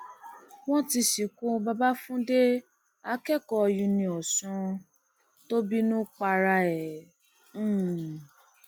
wọn ti sìnkú babafúndé akẹkọọ um uniosun tó bínú pa ara um ẹ